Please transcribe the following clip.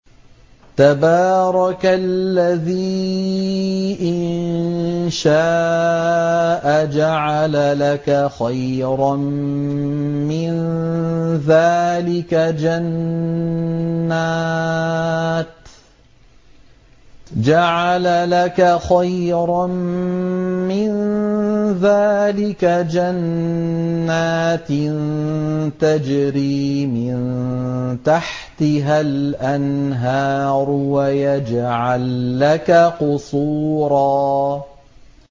تَبَارَكَ الَّذِي إِن شَاءَ جَعَلَ لَكَ خَيْرًا مِّن ذَٰلِكَ جَنَّاتٍ تَجْرِي مِن تَحْتِهَا الْأَنْهَارُ وَيَجْعَل لَّكَ قُصُورًا